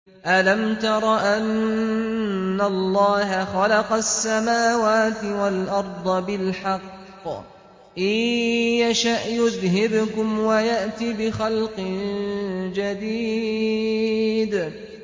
أَلَمْ تَرَ أَنَّ اللَّهَ خَلَقَ السَّمَاوَاتِ وَالْأَرْضَ بِالْحَقِّ ۚ إِن يَشَأْ يُذْهِبْكُمْ وَيَأْتِ بِخَلْقٍ جَدِيدٍ